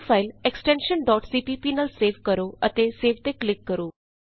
ਹੁਣ file extension CPP extension CPP ਨਾਲ save ਕਰੋ ਅਤੇ ਸੇਵ ਤੇ ਕਲਿਕ ਕਰੋ